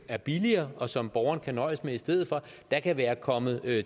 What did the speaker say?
er billigere og som borgeren kan nøjes med i stedet for der kan være kommet